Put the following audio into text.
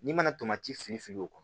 N'i mana filifili o